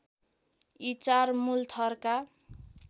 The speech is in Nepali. यी चार मुलथरका